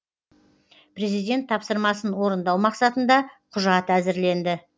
президент тапсырмасын орындау мақсатында құжат әзірленді